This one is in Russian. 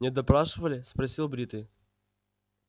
не допрашивали спросил бритый